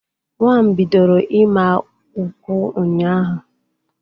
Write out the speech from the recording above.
Nwa m bidoro ịma ụkwụ ụnyaahụ